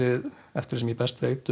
eftir því sem ég best veit